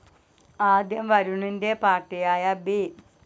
ആദ്യം വരുണിന്റെ പാർട്ടിയായ ബി.